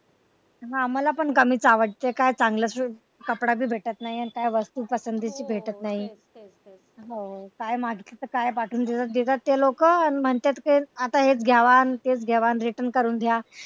हा मला पण कमीच आवडते काय चांगला कापड भी भेटत नाही आणि काय वस्तू पसंतीची भेटत नाही हो काय मागितलं तर काय पाठवून देतात ते लोक आणि म्हणत्यात आता हेच घ्यावा आणि तेच घ्यावा आणि return करून घ्या.